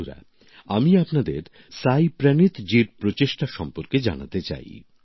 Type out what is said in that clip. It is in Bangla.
বন্ধুরা আমি আপনাদের সাই প্রনীথজীর প্রচেষ্টা সম্পর্কে জানাতে চাই